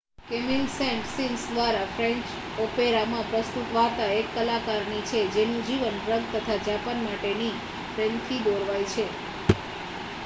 Camille Saint Saens દ્વારા French ઓપેરામાં પ્રસ્તુત વાર્તા એક કલાકારની છે જેનું જીવન ડ્રગ તથા જાપાન માટેના પ્રેમથી દોરવાય છે